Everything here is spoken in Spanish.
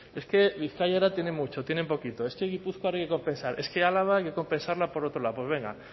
es que bizkaia ahora tiene mucho tiene un poquito es que gipuzkoa ahora hay que compensar es que a álava hay que compensarla por otro lado pues venga